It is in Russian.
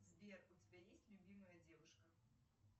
сбер у тебя есть любимая девушка